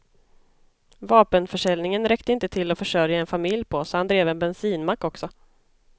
Vapenförsäljningen räckte inte till att försörja en familj på, så han drev en bensinmack också.